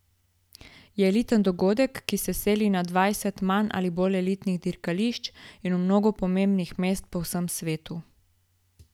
Je eliten dogodek, ki se seli na dvajset manj ali bolj elitnih dirkališč in v mnogo pomembnih mest po vsem svetu.